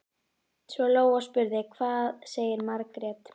Svo Lóa spurði: Hvað sagði Margrét?